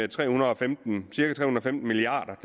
tre hundrede og femten milliard